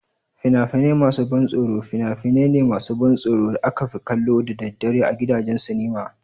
Fina-finai masu ban tsoro fina-finai ne masu ban tsoro da aka fi kallo da daddare a gidajen sinima.